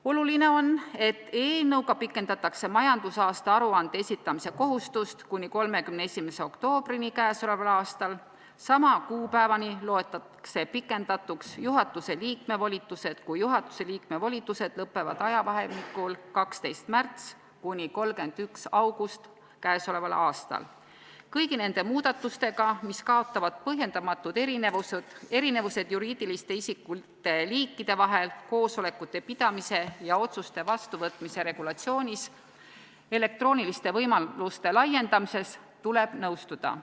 Oluline on, et eelnõuga pikendatakse majandusaasta aruande esitamise kohustust kuni 31. oktoobrini k.a. Sama kuupäevani loetakse pikendatuks juhatuse liikme volitused, kui juhatuse liikme volitused lõpevad ajavahemikul 12. märts kuni 31. august k.a. Kõigi nende muudatustega, mis kaotavad põhjendamatud erinevused juriidiliste isikute liikide vahel koosolekute pidamise ja otsuste vastuvõtmise regulatsioonis, elektrooniliste võimaluste laiendamises, tuleb nõustuda.